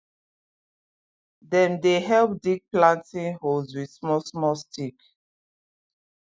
dem dey help dig planting holes with smallsmall stick